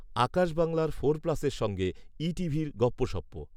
আকাশ বাংলার ফোর প্লাসের সঙ্গে ই টিভির গপ্পোসপ্পো